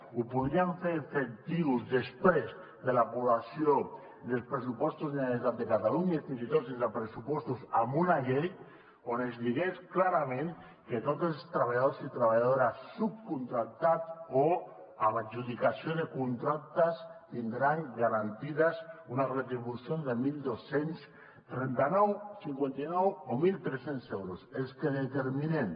ho podríem fer efectiu després de l’aprovació dels pressupostos de la generalitat de catalunya i fins i tot sense pressupostos amb una llei on es digués clarament que tots els treballadors i treballadores subcontractats o amb adjudicació de contractes tindran garantides unes retribucions de dotze trenta nou cinquanta nou o mil tres cents euros els que determinem